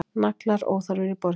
Naglar óþarfir í borginni